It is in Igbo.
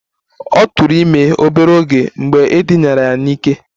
Ọ tụụrụ ime obere oge mgbe e dinara ya n'ike